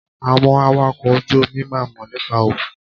Àwọn awakọ̀ ojú omi máà ń mọ̀ nípa òkun.